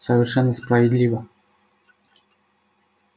совершенно справедливо